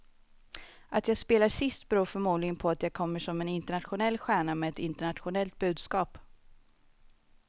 Att jag spelar sist beror förmodligen på att jag kommer som en internationell stjärna med ett internationellt budskap.